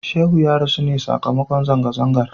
Shehu ya rasu ne sakamakon zanga-zangar.